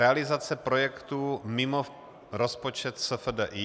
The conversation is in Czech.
Realizace projektů mimo rozpočet SFDI.